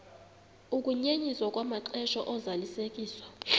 ukunyenyiswa kwamaxesha ozalisekiso